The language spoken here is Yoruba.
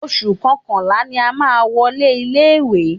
Oṣù kọkànlá ni a má a wọlé ilé ìwé.